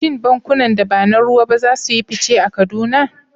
Shin bankunan da ba na ruwa ba za su yi fice a Kaduna?